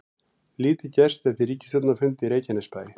Lítið gerst eftir ríkisstjórnarfund í Reykjanesbæ